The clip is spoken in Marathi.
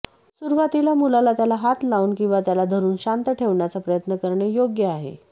सुरुवातीला मुलाला त्याला हात लावून किंवा त्याला धरून शांत ठेवण्याचा प्रयत्न करणे योग्य आहे